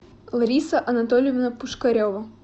лариса анатольевна пушкарева